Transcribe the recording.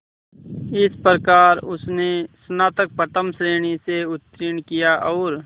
इस प्रकार उसने स्नातक प्रथम श्रेणी से उत्तीर्ण किया और